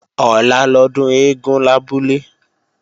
Ọ̀la lọ́dún eégún lábúlé